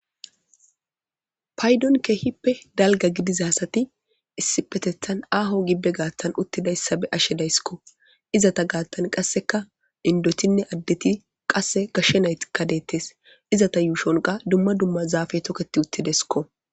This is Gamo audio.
Paydon keippe dalga gidida asati kehi ahoo gidida uttidaysata bea'she daysko indotinne adeti qaseka gashe naytika detes izata yushonka duma duma zafeti toketi utidesko